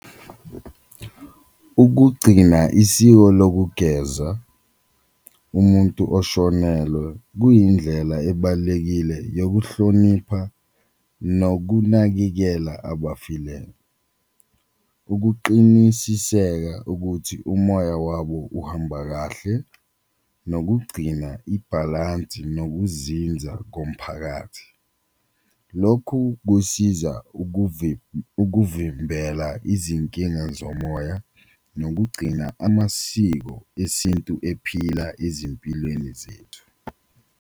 Ukugcina isiko lokugezwa umuntu oshonelwe kuyindlela ebalulekile yokuhlonipha nokunakekela , ukuqinisiseka ukuthi umoya wabo uhamba kahle, nokugcina ibhalansi nokuzinza komphakathi. Lokhu kusiza ukuvimbela izinkinga zomoya nokugcina amasiko esintu ephila ezimpilweni zethu.